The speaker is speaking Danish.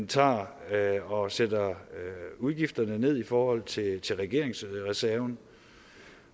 tager og sætter udgifterne ned i forhold til til regeringsreserven